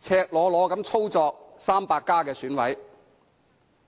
赤裸裸地操作"民主 300+" 的選委。